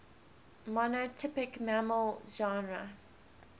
monotypic mammal genera